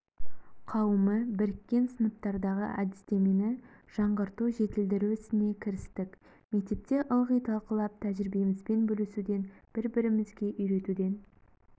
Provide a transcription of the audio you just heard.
қауымы біріккен сыныптардағы әдістемені жаңғырту жетілдіру ісіне кірістік мектепте ылғи талқылап тәжірибемізбен бөлісуден бір-бірімізге үйретуден